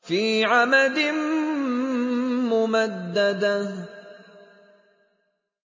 فِي عَمَدٍ مُّمَدَّدَةٍ